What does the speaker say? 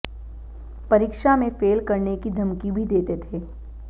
परीक्षा में फेल करने की धमकी भी देते थे